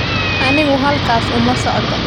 Anigu halkaas uma socdo